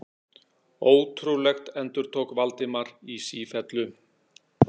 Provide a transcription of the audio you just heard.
Ótrúlegt endurtók Valdimar í sífellu.